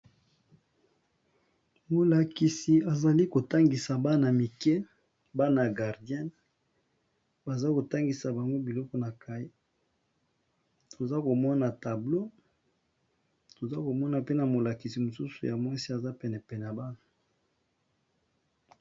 molakisi azali kotangisa bana mike bana guardien baza kotangisa banwe biloko na cai toza komona tablo toza komona pe na molakisi mosusu ya mwasi aza penepene bana